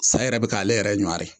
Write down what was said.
Sa yɛrɛ be k'ale yɛrɛ ɲɔwari